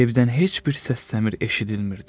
Evdən heç bir səs-səmir eşidilmirdi.